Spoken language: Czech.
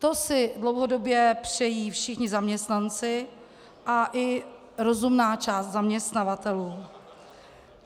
To si dlouhodobě přejí všichni zaměstnanci a i rozumná část zaměstnavatelů.